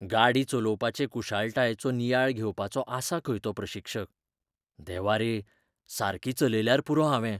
गाडी चलोवपाचे कुशळटायेचो नियाळ घेवपाचो आसा खंय तो प्रशिक्षक. देवा रे, सारकी चलयल्यार पुरो हावें!